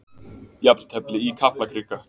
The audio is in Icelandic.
Jafntefli í Kaplakrika